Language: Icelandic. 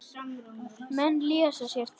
Menn lesa sér til.